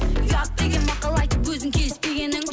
ұят деген мақал айтып өзің келіспегенің